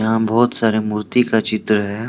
यहां बहुत सारे मूर्ति का चित्र है।